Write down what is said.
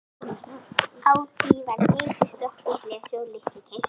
Á því var Geysir, Strokkur, Blesi og Litli-Geysir.